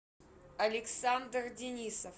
александр денисов